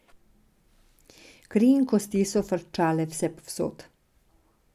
Kri in kosti so frčale vsepovsod.